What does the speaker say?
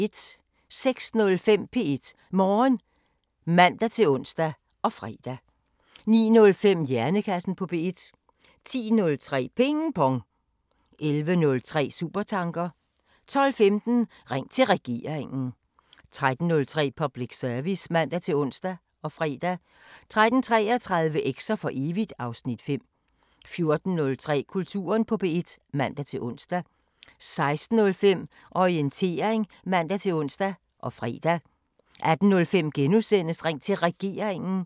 06:05: P1 Morgen (man-ons og fre) 09:05: Hjernekassen på P1 10:03: Ping Pong 11:03: Supertanker 12:15: Ring til Regeringen 13:03: Public Service (man-ons og fre) 13:33: Eks'er for evigt (Afs. 5) 14:03: Kulturen på P1 (man-ons) 16:05: Orientering (man-ons og fre) 18:05: Ring til Regeringen *